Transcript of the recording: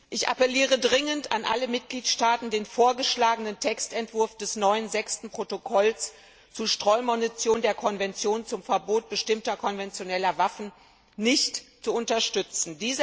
Ich appelliere dringend an alle Mitgliedstaaten, den vorgeschlagenen Textentwurf des neuen Sechsten Protokolls zu Streumunition der Konvention zum Verbot bestimmter konventioneller Waffen nicht zu unterstützen.